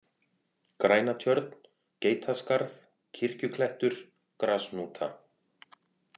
Grænatjörn, Geitaskarð, Kirkjuklettur, Grashnúta